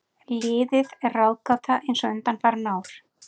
Liðið er ráðgáta eins og undanfarin ár.